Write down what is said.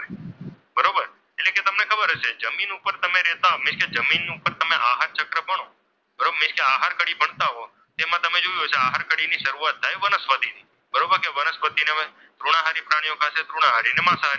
કે તમને ખબર હશે જમીન ઉપર તમે રહેતા મીન્સ કે જમીનો પર તમે આહાર ચક્ર બનો, મીન્સ કે આહાર કડી બનતા હો તેમાં તમે જોયું હશે કે આહાર કડી ની શરૂઆત થાય વનસ્પતિથી બરોબર, એ વનસ્પતિને હવે તૃણાહારી પ્રાણીઓ ખાય ને તૃણાહારીને માંસાહારી.